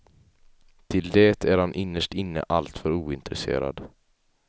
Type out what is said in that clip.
Till det är han innerst inne alltför ointresserad.